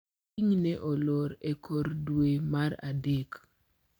Piny ne olor e kor dwe mar adek